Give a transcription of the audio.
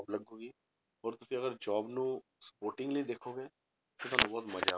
ਲੱਗੇਗੀ ਹੋਰ ਤੁਸੀਂ ਅਗਰ job ਨੂੰ supportingly ਦੇਖੋਗੇ ਤਾਂ ਤੁਹਾਨੂੰ ਬਹੁਤ ਮਜ਼ਾ ਆਊ।